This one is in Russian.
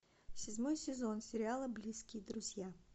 седьмой сезон сериала близкие друзья